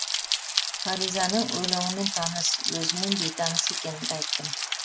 фаризаның өлеңімен таныс өзімен бейтаныс екенімді айттым